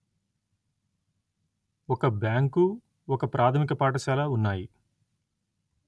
ఒక బ్యాంకు ఒక ప్రాధమిక పాఠశాల ఉన్నాయి